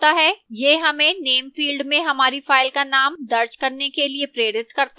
यह हमें name field में हमारी फ़ाइल का name दर्ज करने के लिए प्रेरित करता है